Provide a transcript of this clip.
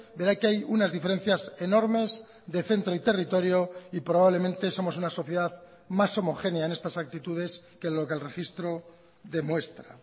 verá que hay unas diferencias enormes de centro y territorio y probablemente somos una sociedad más homogénea en estas actitudes que lo que el registro demuestra